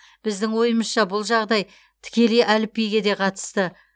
біздің ойымызша бұл жағдай тікелей әліпбиге де қатысты